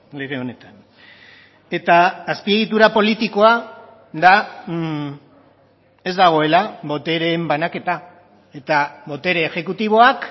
lege honetan eta azpiegitura politikoa da ez dagoela botereen banaketa eta botere exekutiboak